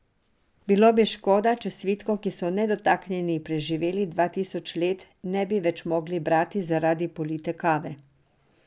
Bilo bi škoda, če svitkov, ki so nedotaknjeni preživeli dva tisoč let, ne bi več mogli brati zaradi polite kave.